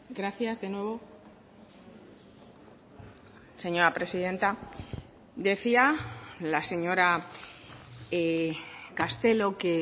gracias de nuevo señora presidenta decía la señora castelo que